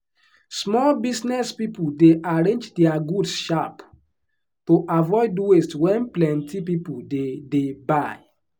small business people dey arrange their goods sharp to avoid waste when plenty people dey dey buy.